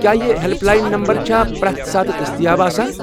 کیٚا یہ help line number چھا پرٛٮ۪تھ ساتہٕ دٔستیاب آسان۔